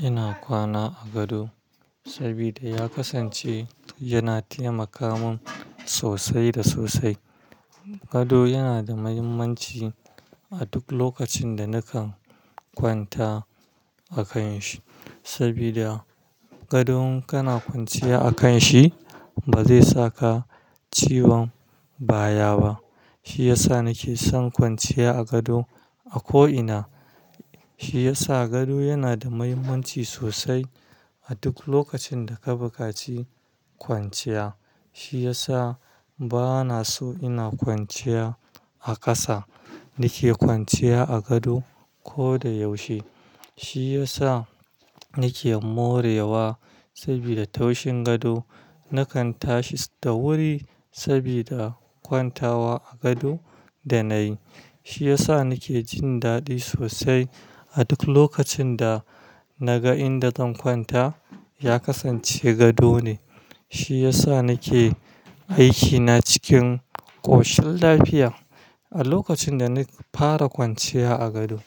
Ina kwana a gado sabida ya kasance yana taimaka min sosai da sosai. Gado yana da muhimmanci a duk lokacin da nakan kwanta a kan shi sabida gado in kana kwanciya a kan shi ba zai saka ciwon baya ba. Shi yasa nake son kwanciya a gado a ko ina. Shi yasa gado yana da mahimmanci sosai a duk lokacin da ka buƙaci kwanciya. Shi yasa bana so ina kwanciya a ƙasa. Nake kwanciya a gado ko da yaushe. Shi yasa nake morewa sabida taushin gado. Nakan tashi da wuri sabida kwantawa a gado da na yi. Shi yasa nake jin daɗi sosai a duk lokacin da naga inda zan kwanta ya kasance gado ne. Shi yasa nake aikina cikin ƙoshin lafiya. A lokacin da na fara kwanciya a gado,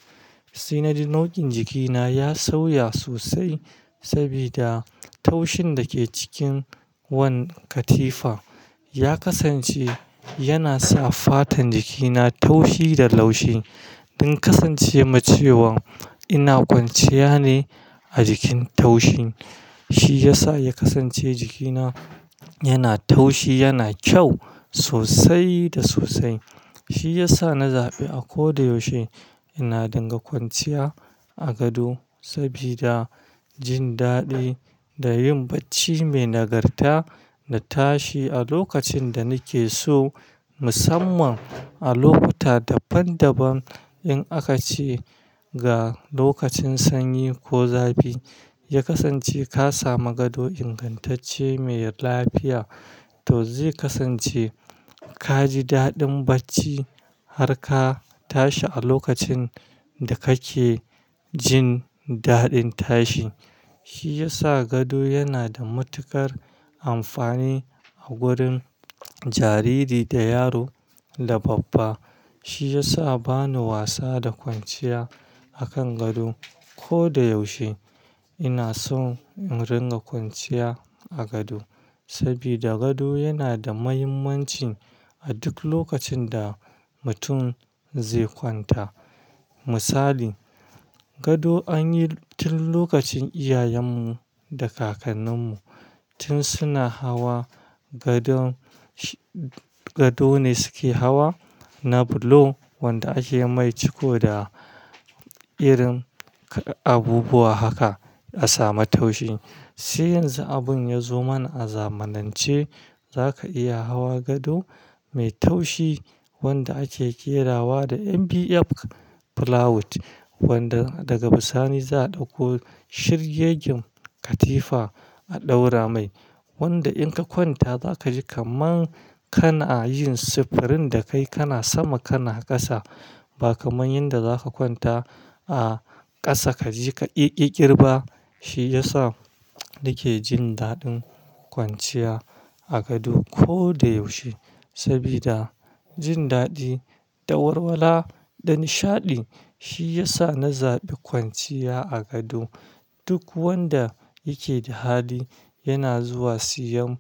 sai na ji nau'in jikina ya sauya sosai sabida taushin da ke cikin wannan katifa ya kasance yana sa fatan jikina taushi da laushi. Don kasance ma cewan ina kwanciya ne a jikin taushi. Shi yasa ya kasance jikina yana taushi, yana kyau sosai da sosai. Shi yasa na zaɓi a ko da yaushe ina dinga kwanciya a gado sabida jin daɗi da yin bacci mai nagarta da tashi a lokacin da nake so musamman a lokuta daban daban in aka ce ga lokacin sanyi ko zafi. Ya kasance ka samu gado ingantacce mai lafiya, to zai kasance ka ji daɗin bacci har ka tashi a lokacin da kake jin daɗin tashi. Shi yasa gado yana da matuƙar amfani a wurin jariri da yaro da babba. Shi yasa bana wasa da kwanciya a kan gado ko da yaushe. Ina son in ringa kwanciya a gado sabida gado yana da mahimmanci a duk lokacin da mutum zai kwanta. Misali gado anyi tun lokacin iyayenmu da kakanninmu tun suna hawa gadon, gado ne suke hawa na bulo wanda ake mai ciko da irin abubuwa haka a sama taushi. Sai yanzu abun ya zo mana a zamanance za ka iya hawa gado mai taushi wanda ake ƙerawa da "MBF Pillow" wanda daga bisani za a ɗauko shirgegen katifa a ɗaura mai. Wanda in ka kwanta za ka ji kaman kana yin sufurin dakai kana sama kana ƙasa ba kaman yanda za ka kwanta a ƙasa ka ji ka ƙi ƙiƙirɓa. Shi yasa nake jin daɗin kwanciya a gado ko da yaushe sabida jin daɗi da warwala da nishaɗi. Shi yasa na zaɓi kwanciya a gado. Duk wanda yake da hali yana zuwa siyan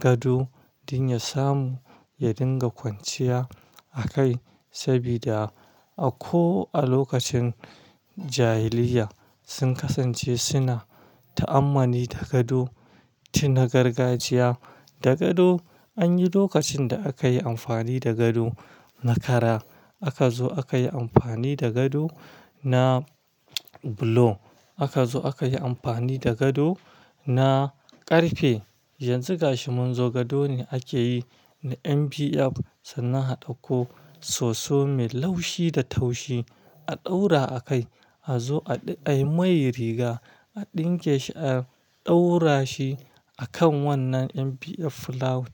gado don ya samu ya dinga kwanciya a kai sabida a ko a lokacin jahiliyya sun kasance suna ta'ammali da gado tun na gargajiya. Da gado anyi lokacin da aka yi amfani da gado na kara. Aka zo aka yi amfani da gado na bulo. Aka zo aka yi amfani da gado na ƙarfe. Yanzu ga shi mun zo gado ne ake yi na "MPF" sannan a ɗauko soso mai laushi da taushi a ɗaura a kai. A zo a yi mai riga a ɗinke shi a ɗaura shi a kan wannan "MPF Pillow"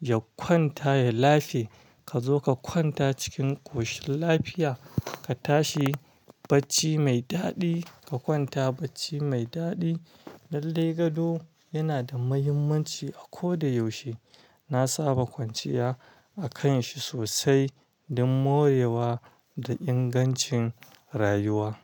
ya kwanta ya lafe. Ka zo ka kwanta cikin ƙoshin lafiya, ka tashi bacci mai daɗi, ka kwanta bacci mai daɗi. Lallai gado yana da mahimmanci a ko da yaushe. Na saba kwanciya a kan shi sosai don morewa da ingancin rayuwa.